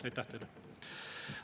Aitäh teile!